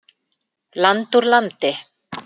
Land úr landi.